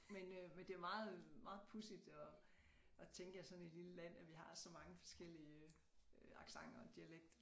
Men øh men det meget meget pudsigt at at tænke at sådan et lille land at vi har så mange forskellige øh accenter og dialekter